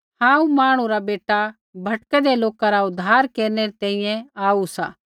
हांऊँ मांहणु रा बेटा भटकैंदै लोका रा उद्धार केरनै री तैंईंयैं आऊ सा